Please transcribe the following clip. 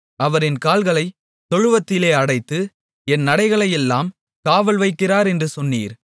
அவர் என் கால்களைத் தொழுவத்திலே அடைத்து என் நடைகளையெல்லாம் காவல் வைக்கிறார் என்று சொன்னீர்